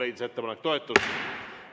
Ettepanek leidis toetust.